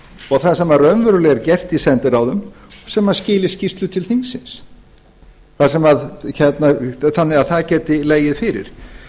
og það sem raunverulega er gert í sendiráðum sem skili skýrslu til þingsins þannig að það gæti legið fyrir